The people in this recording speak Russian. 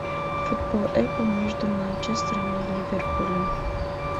футбол апл между манчестером и ливерпулем